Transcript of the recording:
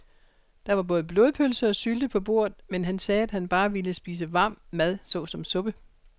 Der var både blodpølse og sylte på bordet, men han sagde, at han bare ville spise varm mad såsom suppe.